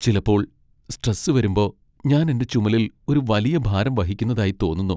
ചിലപ്പോൾ, സ്ട്രെസ് വരുമ്പോ ഞാൻ എന്റെ ചുമലിൽ ഒരു വലിയ ഭാരം വഹിക്കുന്നതായി തോന്നുന്നു.